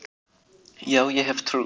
Já, ég hef trú.